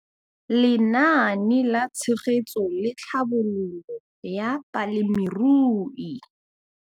Lenaane la Tshegetso le Tlhabololo ya Balemirui